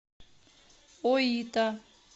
оита